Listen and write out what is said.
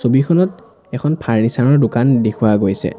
ছবিখনত এখন ফাৰ্ণিছাৰ ৰ দোকান দেখুওৱা গৈছে।